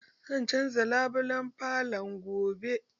Zan canza labulan falon gobe.